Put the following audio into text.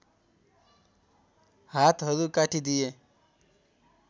हातहरू काटी दिए